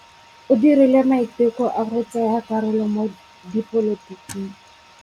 O dirile maitekô a go tsaya karolo mo dipolotiking.